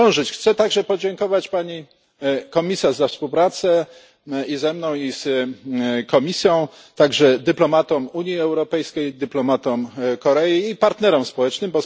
Chcę także podziękować Pani Komisarz za współpracę i ze mną, i z komisją, a także dyplomatom Unii Europejskiej, dyplomatom Korei i partnerom społecznym.